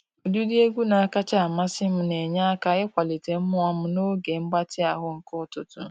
Ụdịdị egwu na-akacha amasị m na enye aka ịkwalite mmụọ m n'oge mgbatị ahụ nke ụtụtụ.